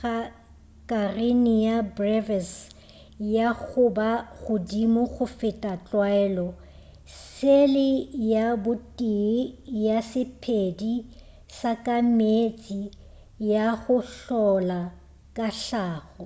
ga karenia brevis ya go ba godimo go feta tlwaelo sele ya botee ya sephedi sa ka meetse ya go hlola ke hlago